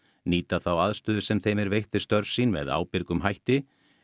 nýta þá aðstöðu sem þeim er veitt við störf sín með ábyrgum hætti